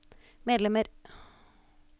medlemmer